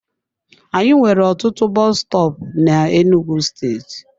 Anyị nwere ọtụtụ bọs stọọpu n'Enugwu steeti.